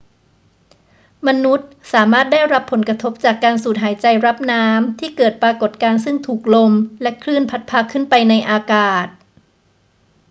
มนุษย์สามารถได้รับผลกระทบจากการสูดหายใจรับน้ำที่เกิดปรากฏการณ์ซึ่งถูกลมและคลื่นพัดพาขึ้นไปในอากาศ